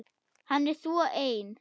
Hann er svo ein